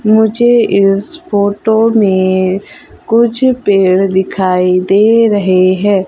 मुझे इस फोटो में कुछ पेड़ दिखाई दे रहे हैं।